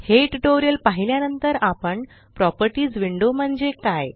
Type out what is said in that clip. हे ट्यूटोरियल पहिल्या नंतर आपण प्रॉपर्टीस विंडो म्हणजे काय